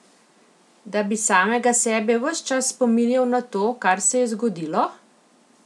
Da bi samega sebe ves čas spominjal na to, kar se je zgodilo?